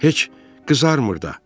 Heç qızarmır da.